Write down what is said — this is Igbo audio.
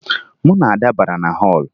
Mụ na Ada bara na họọlụ